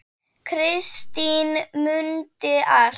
Kristín mundi allt.